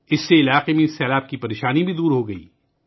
اس سے علاقے میں سیلاب کا مسئلہ بھی حل ہو گیا